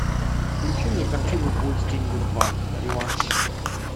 включи мне картину бой с тенью два реванш